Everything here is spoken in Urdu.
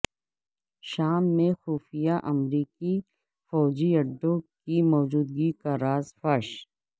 شام میں خفیہ امریکی فوجی اڈوں کی موجودگی کا راز فاش